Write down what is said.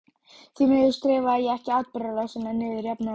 Því miður skrifaði ég ekki atburðarásina niður jafnóðum.